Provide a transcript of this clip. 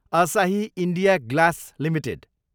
असाही India Glass Ltd